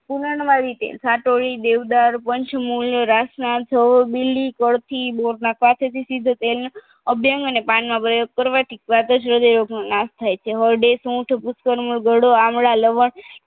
કુનણ વાણી કા તો ઈ દેવદાણ પંચમૂલ્ય રાસના છોડ બિલ્લી કરથી બોરના કાંઠેથી તેલના પાનનો પ્રયોગ કરવાથી વાતજય રોગ નો નાસ થાય છે હરડે સૂંઠ આમળા લવળ